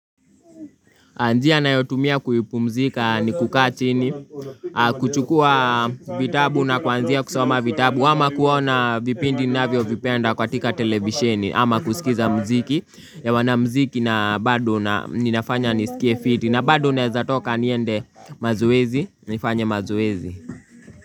Njia nayotumia kuhipumzika ni kukaa chini kuchukua vitabu na kwanzia kusoma vitabu ama kuona vipindi navyo vipenda katika televisheni ama kusikiza mziki ya wana mziki na bado na ninafanya nisikie fiti na bado naeza toka niende mazoezi nifanye mazoezi.